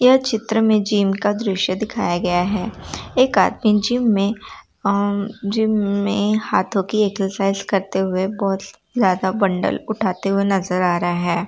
यह चित्र में जिम का दृश्य दिखाया गया है एक आदमी जिम में अ जिम में हाथों की एक्सरसाइज करते हुए बहोत ज्यादा बंडल उठाते हुए नजर आ रहा है।